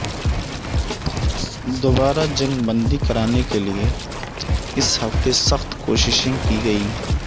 دوبارہ جنگ بندی کرانے کے لیے اس ہفتے سخت کوششیں کی گئیں